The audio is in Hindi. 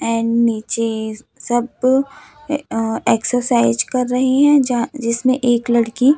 एंड नीचे सब अह एक्सरसाइज कर रही हैं यहां जिसमें एक लड़की--